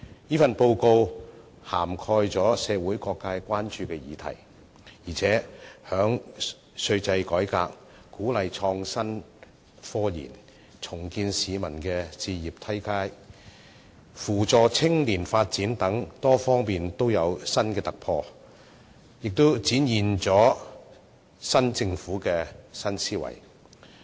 這份報告涵蓋了社會各界關注的議題，而且在稅制改革、鼓勵創新科研、重建市民置業階梯及扶助青年發展等多方面均有新突破，展現出新政府的新思維。